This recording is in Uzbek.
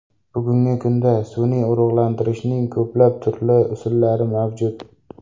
Bugungi kunda, sun’iy urug‘lantirishning ko‘plab turli usullari mavjud.